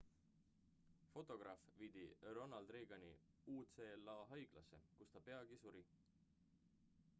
fotograaf viidi ronald reagani ucla haiglasse kus ta peagi suri